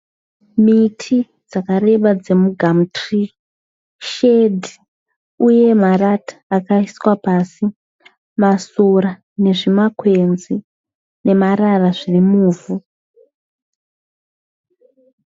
Miti dzakareba dzemu Gumtree, shedhi, uye marata akaiswa pasi, masora nezvima kwenzi nemarara zviri muvhu.